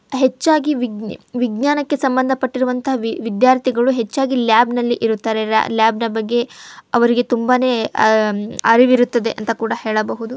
ಹೆಚ್ಚಾಗಿ ವಿಜ್ಞಾ ವಿಜ್ಞಾನಕ್ಕೆ ಸಂಬಂಧಪಟ್ಟರುವಂತಹ ವಿ ವಿದ್ಯಾರ್ಥಿಗಳು ಹೆಚ್ಚಾಗಿ ಲ್ಯಾಬ್ ನಲ್ಲಿ ಇರುತ್ತಾರೆ. ಲಾ ಲ್ಯಾಬ್ ನ ಬಗ್ಗೆ ಅವರಿಗೆ ತುಂಬಾನೇ ಅಹ್ ಅರಿವಿರುತ್ತದೆ ಅಂತ ಕೂಡ ಹೇಳಬಹುದು.